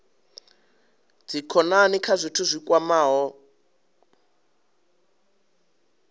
dzikhonani kha zwithu zwi kwamaho